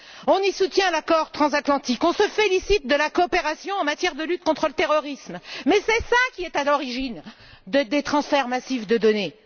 On y soutient l'accord transatlantique, on se félicite de la coopération en matière de lutte contre le terrorisme, mais c'est cela qui est à l'origine des transferts massifs de données.